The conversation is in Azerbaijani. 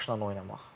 Başla oynamaq.